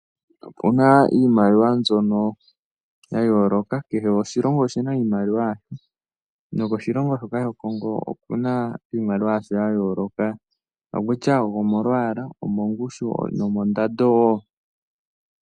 Opuna iimaliwa mbyono ya yooloka. Kehe oshilongo oshina iimaliwa yasho, noshilongo shoka shaCongo oshina iimaliwa ya yooloka. Okutya omolwaala, omongushu, noshowo mondando.